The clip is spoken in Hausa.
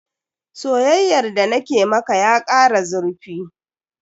Soyayyar da na ke maka ya kara zurfi.